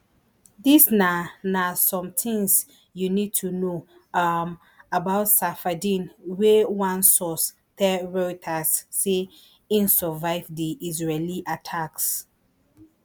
dis na na some tins you need to know um about safieddine wey one source tell reuters say im survive di israeli attacks